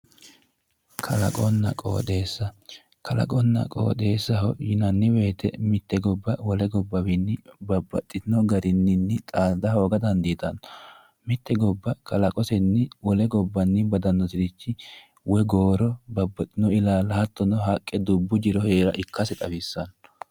kalaqonna qooxeessa yinanni woyte mitte gobba wole gobbawiinni babbaxino garinninni xaada hooga dandiitanno mitte gobba kalaqoseni wole gobbanni badanoserichi woy gooro babbaxino illaala hatto haqqe dubbbu jiro heera ikkase xawissanno